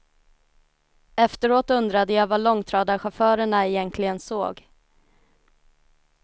Efteråt undrade jag vad långtradarchaufförerna egentligen såg.